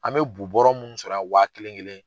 An bɛ bu bɔrɔ munnu sɔrɔ wa kelen kelen